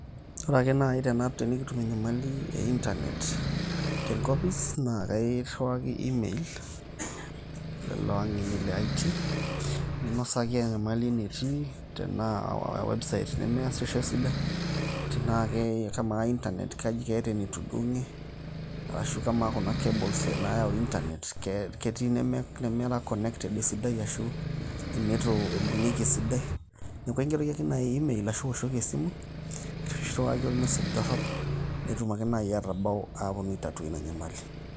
Ore ake naai tenikitum enyamali e intanet te enkopis naa kairriwaki email lelo ang'eni le IT, ninosaki enyamali enetii, tenaa aa website cs] nemeesisho esidai, tenaakee kamaa intanet keeta enetudung'e arashu kamaa kuna cables naayau intanet ketii inemera connected esidai ashu initu ibung'ieki esidai. Neeku aingeroki ake naai email iwoshoki esimu arashu irriwaki ormessage dorrop, netum ake naai atabau aetu aitatua ina nyamali.